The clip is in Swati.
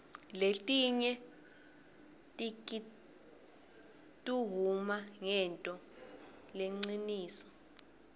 letinye tikituhuma ngentfo lehciniso